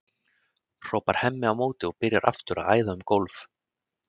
hrópar Hemmi á móti og byrjar aftur að æða um gólf.